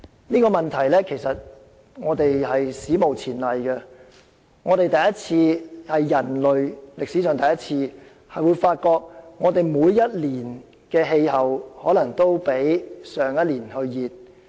這個問題是史無前例的，是人類歷史上首次發現每一年的氣溫都較去年為高。